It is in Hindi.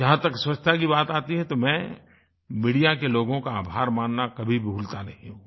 जहाँ तक स्वच्छता की बात आती है तो मैं मीडिया के लोगों का आभार मानना कभी भूलता नहीं हूँ